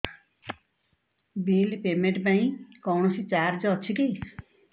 bill payment ପାଇଁ କୌଣସି charge ଅଛି କି